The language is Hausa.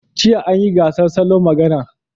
Jiya an yi gasar salon magana.